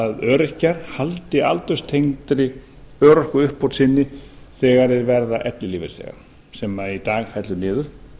að öryrkjar haldi aldurstengdri örorkuuppbót sinni þegar þeir verða ellilífeyrisþegar sem í dag fellur niður